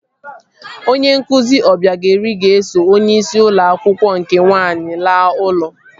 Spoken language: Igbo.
Onye nkụzi Ọbịagaeri ga-eso onyeisi ụlọ akwụkwọ nke nwaanyị laa ụlọ